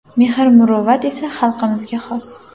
Mehr-muruvvat esa xalqimizga xos.